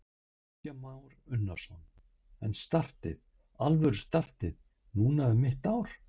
Kristján Már Unnarsson: En startið, alvöru startið, núna um mitt ár?